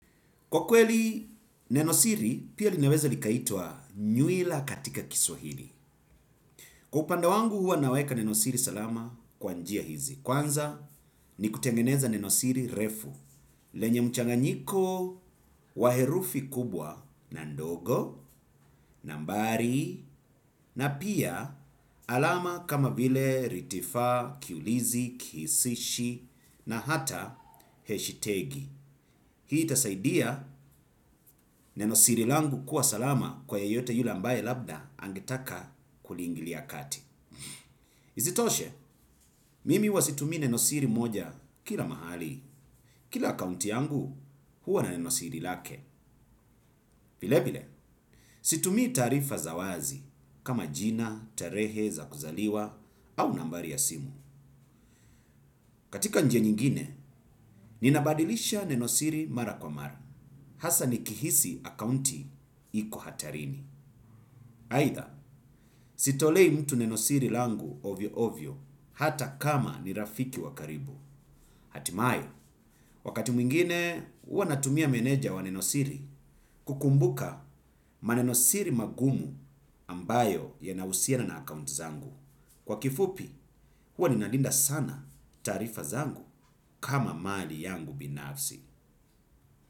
Kwa kweli, nenosiri pia linaweza likaitwa nywila katika kiswahili. Kwa upande wangu huwa naweka nenosiri salama kwa njia hizi. Kwanza ni kutengeneza nenosiri refu. Lenye mchanganyiko wa herufi kubwa na ndogo, nambari, na pia alama kama vile ritifaa, kiulizi, kihisishi, na hata heshitegi. Hii itasaidia nenosiri langu kuwa salama kwa yeyote yule ambaye labda angetaka kuliingilia kati. Isitoshe, mimi huwa situmii nenosiri moja kila mahali. Kila akaunti yangu huwa na nenosiri lake. Vilevile, situmii taarifa za wazi kama jina, tarehe za kuzaliwa au nambari ya simu. Katika njia nyingine, ninabadilisha nenosiri mara kwa mara. Hasa nikihisi akaunti iko hatarini. Aidha sitolei mtu nenosiri langu ovyoovyo hata kama ni rafiki wa karibu. Hatimaye, wakati mwingine huwa natumia meneja wa nenosiri kukumbuka manenosiri magumu ambayo yanahusiana na akaunti zangu. Kwa kifupi, huwa ninalinda sana taarifa zangu kama mali yangu binafsi.